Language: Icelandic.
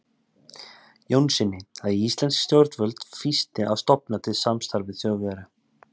Jónssyni, að íslensk stjórnvöld fýsti að stofna til samstarfs við Þjóðverja.